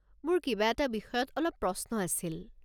মোৰ কিবা এটা বিষয়ত অলপ প্ৰশ্ন আছিল।